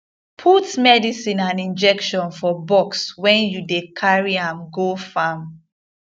put medicine and injection for box when you dey carry am go farm